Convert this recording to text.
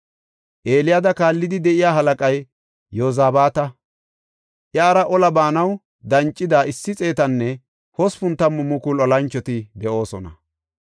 Eliyaada kaallidi de7iya halaqay Yozabaata; iyara ola baanaw dancida issi xeetanne hospun tammu mukulu olanchoti de7oosona.